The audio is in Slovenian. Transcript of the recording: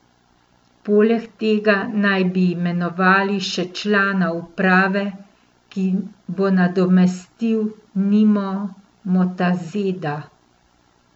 Poleg tega naj bi imenovali še člana uprave, ki bo nadomestil Nimo Motazeda.